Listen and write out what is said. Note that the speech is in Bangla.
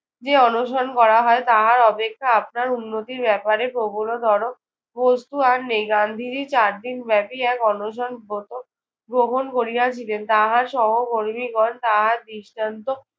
যে অনশন করা হয় তাহার অপেক্ষা আপনার উন্নতির ব্যাপারে প্রবলতর বস্তু আর নেই। গান্ধীজি চারদিনব্যাপী এক অনশন ব্রত গ্রহণ করিয়াছিলেন। তাহার সহকর্মীগণ তাহার দৃষ্টান্ত